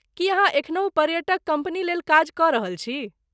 की अहाँ एखनहु पर्यटक कम्पनीलेल काज कऽ रहल छी?